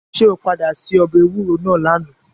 Ṣé o padà se ọbẹ̀ ewúro náà lánàá.